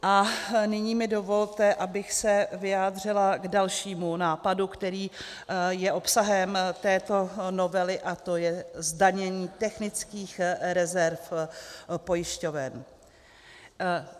A nyní mi dovolte, abych se vyjádřila k dalšímu nápadu, který je obsahem této novely, a to je zdanění technických rezerv pojišťoven.